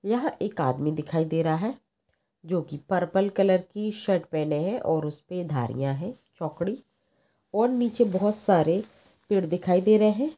यहा एक आदमी दिखाई दे रहा है जो की पर्पल कलर की शर्ट पहने है और उसके पास धारिया है चोकड़ी और नीचे बहुत सारे पेड़ दिखाई दे रहे है।